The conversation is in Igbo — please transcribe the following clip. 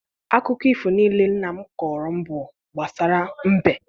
Akụkọ ifo niile nna m kọọrọ m bụ gbasara mbe.